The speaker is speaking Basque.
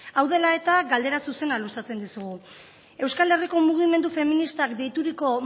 hau dela eta galdera zuzena luzatzen dizugu euskal herriko mugimendu feministak deituriko